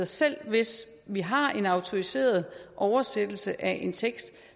selv hvis vi har en autoriseret oversættelse af en tekst